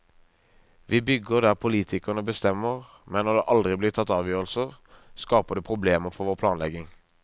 Vi bygger der politikerne bestemmer, men når det aldri blir tatt avgjørelser, skaper det problemer for vår planlegging.